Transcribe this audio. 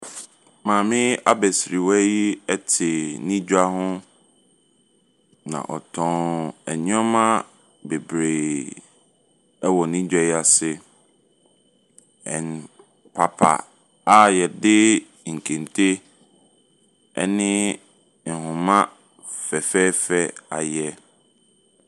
Maame abasirwa yi te ne dwa ho, na ɔtɔn nneɛma bebree wɔ ne dwa yi ase ɛ kwapa a yɛde nkente awene ne nhoma fɛfɛɛfɛ ayɛ.